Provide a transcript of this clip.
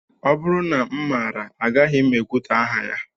Ọ bụrụ na m maara, agaghị m ekwutọ aha ya